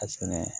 A sɛnɛ